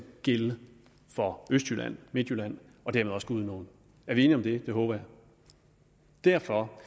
gælde for østjylland midtjylland og dermed også gudenåen er vi enige om det det håber jeg derfor